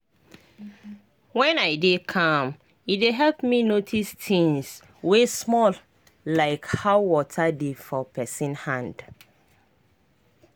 when i dey calm e dey help me notice things wey small like how water dey for pesin hand.